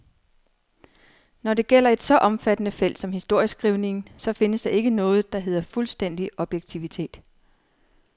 Når det gælder et så omfattende felt som historieskrivningen, så findes der ikke noget, der hedder fuldstændig objektivitet.